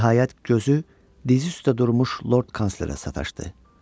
Nəhayət, gözü diz üstə durmuş Lord Kanslerə sataşdı.